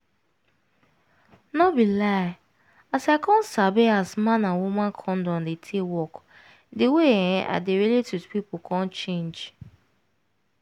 no be lie as i come sabi as man and woman condom dey take work di way[um]i dey relate with pipu come change